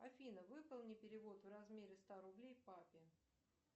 афина выполни перевод в размере ста рублей папе